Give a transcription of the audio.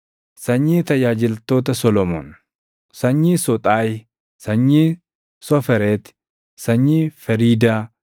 Sanyii Tajaajiltoota Solomoon: Sanyii Soxaayi, sanyii Sofereeti, sanyii Feriidaa,